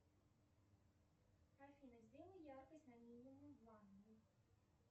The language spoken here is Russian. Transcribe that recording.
афина сделай яркость на минимум в ванной